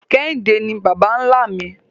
Kehinde ni baba-nla mi